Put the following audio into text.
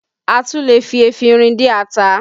A tún lè fi efinrin dín ata